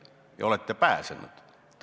Ja olete pääsenud.